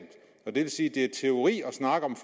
det vil sige at det er teori at snakke om